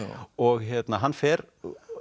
og hann fer